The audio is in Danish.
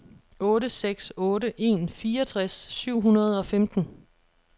otte seks otte en fireogtres syv hundrede og femten